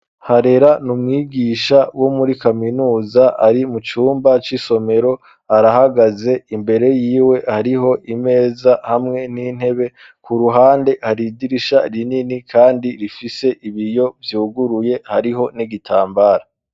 Harera niumwigisha wo muri kaminuza ari mu cyumba cy'isomero arahagaze imbere y'iwe hariho imeza hamwe n'intebe ku ruhande hariidirisha rinini kandi rifise ibiyo byuguruye hariho n'igitambara.